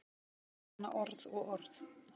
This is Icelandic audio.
Svona orð og orð.